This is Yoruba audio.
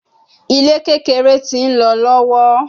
Ile kekere ti nlọ lọwọ